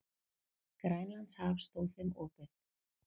Grænlandshaf stóð þeim opið.